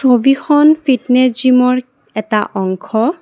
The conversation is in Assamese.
সবিখন ফিটনেছ জিমৰ এটা অংশ।